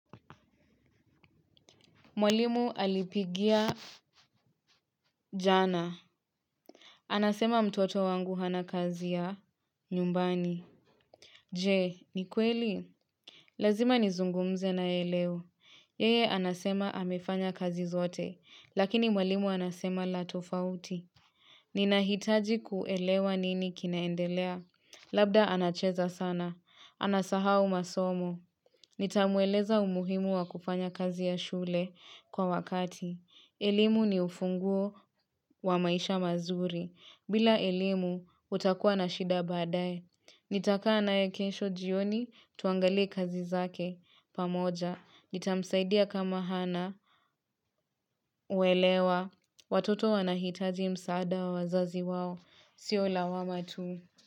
Mwalimu alipigia jana. Anasema mtoto wangu hana kazi ya nyumbani. Je, ni kweli? Lazima nizungumze naye leo. Yeye anasema amefanya kazi zote, lakini mwalimu anasema la tofauti. Ninahitaji kuelewa nini kinaendelea. Labda anacheza sana. Anasahau masomo. Nitamweleza umuhimu wa kufanya kazi ya shule kwa wakati. Elimu ni ufunguo wa maisha mazuri. Bila elimu utakuwa na shida baadae. Nitakana ya kensho jioni tuangalii kazi zake pamoja. Nitamsaidia kama hana uelewa. Watoto wanahitaji msaada wa wazazi wao. Sio lawama tu.